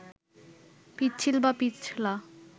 পিচ্ছিল বা পিছলা